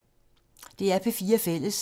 DR P4 Fælles